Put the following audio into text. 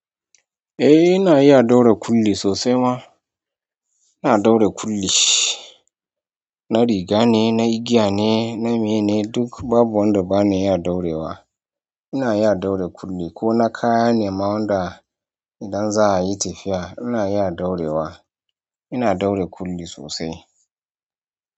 Eh ina iya ɗaure kulli sosai ma. Ina ɗaure kulli, na riga ne, na igiya ne, na meye ne, duk babu wanda bana iya ɗaure wa. Ina iya ɗaure kulli ko na kaya ne ma wanda idan za a yi tafiya ina iya ɗaure wa. Ina ɗaure kulli sosai.